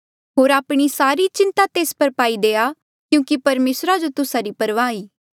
होर आपणी सारी चिंता तेस पर पाई देआ क्यूंकि परमेसरा जो तुस्सा री परवाह ई